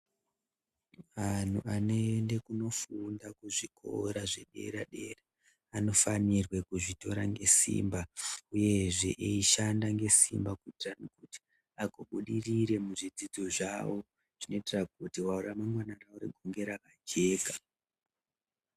Antu anoende kunofunda kuzvikora zvepadera dera vanofanirwe kuzvitora ngesimba uyezve eishanda nesimba kutsvake kuti agobudirire muzvidzidzo zvavo kuti ramangwana ravo rive rakajeka